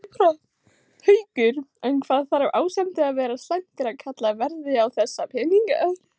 Haukur: En hvað þarf ástandið að vera slæmt til að kallað verði á þessa peninga?